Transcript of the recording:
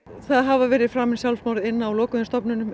það hafa verið framin sjálfsmorð inn á lokuðum stofnunum